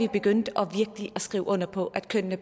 begyndte at skrive under på at kønnene